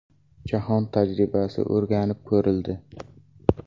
Jahon tajribasi o‘rganib ko‘rildi.